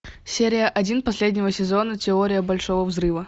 серия один последнего сезона теория большого взрыва